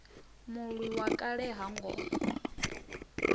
mulwi wa kale ha ngo